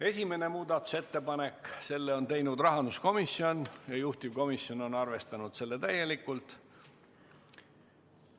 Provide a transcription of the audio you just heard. Esimese muudatusettepaneku on teinud rahanduskomisjon ja juhtivkomisjon on arvestanud seda täielikult.